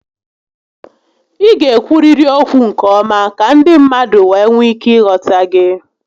Ị ga ekwuriri okwu nke ọma ka ndị mmadụ wee nwee ike ị ghọta gị